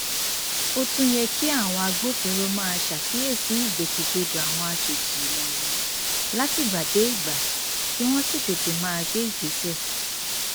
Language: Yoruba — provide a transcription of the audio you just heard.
ó tún yẹ kí àwọn agbófinró máa ṣàkíyèsí ìgbòkègbodò àwọn àjọjì wọnyí látìgbàdégbà kí wọn sì tètè máa gbé ìgbésẹ